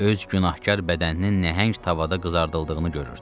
Öz günahkar bədəninin nəhəng tavada qızardıldığını görürdü.